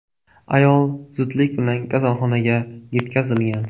Ayol zudlik bilan kasalxonaga yetkazilgan.